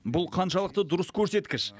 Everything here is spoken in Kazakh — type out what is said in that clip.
бұл қаншалықты дұрыс көрсеткіш